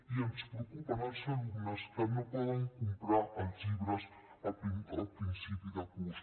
i ens preocupen els alumnes que no poden comprar els llibres a principi de curs